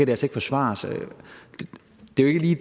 kan forsvares det er jo i